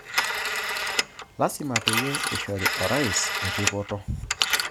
Lasima peyie ishori orais erripoto